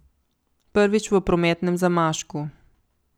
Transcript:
Prvič, v prometnem zamašku.